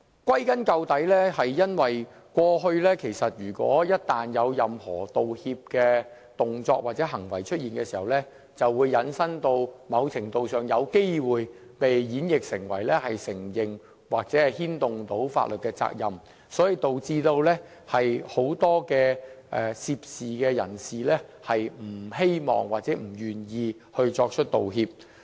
歸根究底，是因為過去一旦出現任何道歉的動作或行為時，便會在某程度上有機會被引申或演繹成為承認或牽涉法律責任。因此，導致很多涉事人士不願意作出道歉。